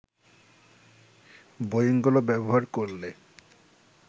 বোয়িংগুলো ব্যবহার করলে